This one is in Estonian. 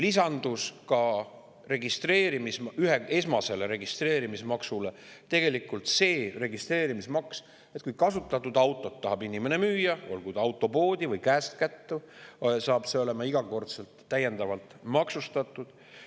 Esmasele registreerimismaksule lisandus registreerimismaks ka sel juhul, kui inimene tahab kasutatud autot müüa, olgu siis autopoodi või käest kätte – see hakkab olema iga kord täiendavalt maksustatud.